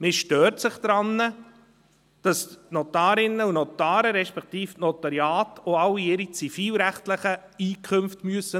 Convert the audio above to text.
Man stört sich daran, dass die Notarinnen und Notare, respektive die Notariate, auch alle ihre zivilrechtlichen Einkünfte offenlegen müssen.